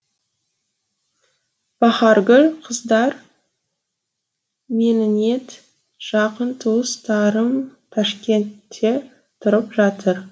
бахаргүл қыздар меніңет жақын туыс тарым ташкентте тұрып жатыр